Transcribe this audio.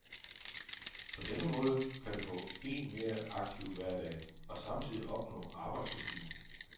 På denne måde kan du få en mere aktiv hverdag og samtidig opnå arbejdsrutine.